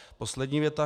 Poslední věta.